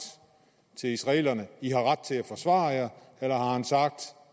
til israelerne i har ret til at forsvare jer eller har han sagt